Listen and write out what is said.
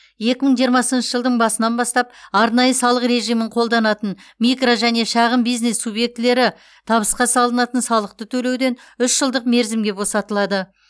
екі мың жиырмасыншы жылдың басынан бастап арнайы салық режимін қолданатын микро және шағын бизнес субъектілері табысқа салынатын салықты төлеуден үш жылдық мерзімге босатылады